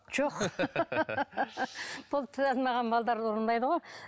жоқ бұл тіл алмаған балаларды ұрмайды ғой